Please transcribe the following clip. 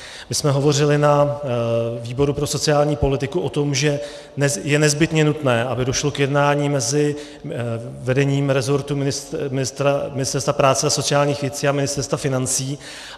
My jsme hovořili na výboru pro sociální politiku o tom, že je nezbytně nutné, aby došlo k jednání mezi vedením resortu Ministerstva práce a sociálních věcí a Ministerstva financí.